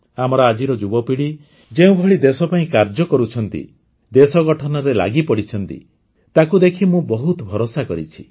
ଆମର ଆଜିର ଯୁବପିଢ଼ି ଯେଉଁଭଳି ଦେଶପାଇଁ କାର୍ଯ୍ୟ କରୁଛନ୍ତି ଦେଶଗଠନରେ ଲାଗିପଡ଼ିଛନ୍ତି ତାକୁ ଦେଖି ମୁଁ ବହୁତ ଭରସା କରିଛି